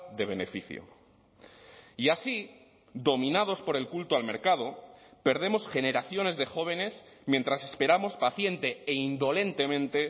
de beneficio y así dominados por el culto al mercado perdemos generaciones de jóvenes mientras esperamos paciente e indolentemente